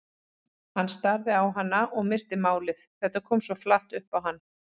Hann starði á hana og missti málið, þetta kom svo flatt upp á hann.